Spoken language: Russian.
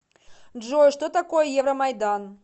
джой что такое евромайдан